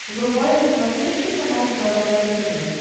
врубай на смотрешке канал здоровое тв